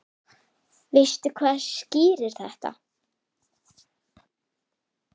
Veistu hvað skýrir þetta?